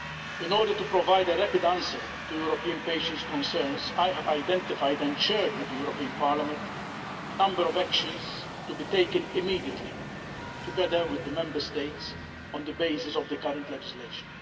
In order to provide a rapid answer to European patients' concerns, I have identified, and shared with the European Parliament, a number of actions to be taken immediately, together with the Member States, on the basis of the current legislation.